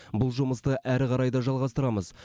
бұл жұмысты әрі қарай да жалғастырамыз